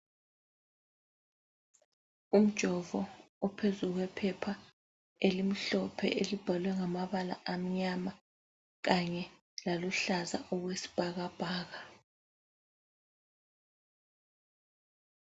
Umjovo uphezu kwephepha elimhlophe elibhalwe ngamabala amnyama kanye laluhlaza okwesibhakabhaka.